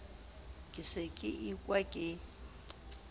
ke se ke ekwa ke